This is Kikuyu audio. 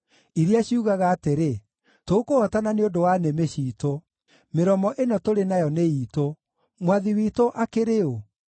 iria ciugaga atĩrĩ, “Tũkũhootana nĩ ũndũ wa nĩmĩ ciitũ; mĩromo ĩno tũrĩ nayo nĩ iitũ; mwathi witũ akĩrĩ ũ?”